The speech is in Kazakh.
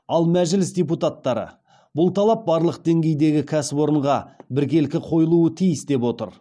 ал мәжіліс депутаттары бұл талап барлық деңгейдегі кәсіпорынға біркелкі қойылуы тиіс деп отыр